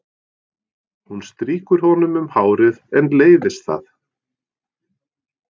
Hún strýkur honum um hárið en leiðist það.